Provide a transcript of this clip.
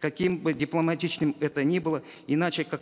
каким бы дипломатичным это ни было иначе как